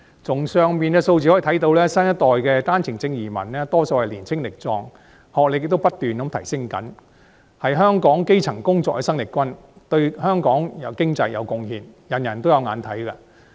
從以上數字可見，新一代的單程證移民大多數都年青力壯，平均學歷亦不斷提升，是香港基層工作的生力軍，對香港的經濟有貢獻，大家有目共睹。